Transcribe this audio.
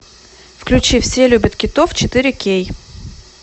включи все любят китов четыре кей